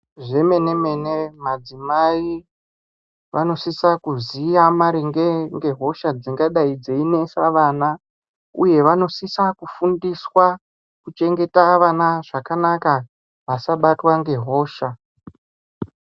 Zve mene mene madzimai vano sisa kuziya maringe nge hosha dzingadai dzei nesa vana uye vano sisa kufundiswa ku chengeta vana zvakanaka asabatwa nge hosha.